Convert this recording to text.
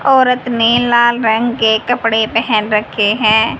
औरत ने लाल रंग के कपड़े पहेन रखे हैं।